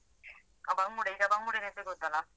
ಹ ಬಂಗುಡೆ ಈಗ ಬಂಗುಡೆ ಸಿಗುತ್ತಲ್ಲಾ.